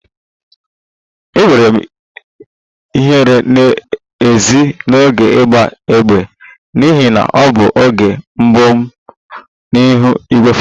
Enwere m ihere n'ezie n'oge ịgba égbè n'ihi na ọ bụ oge mbụ m n'ihu igwefoto